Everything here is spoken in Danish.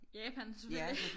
Japan selvfølgelig